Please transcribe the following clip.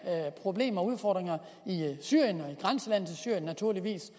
problemer og udfordringer i syrien og naturligvis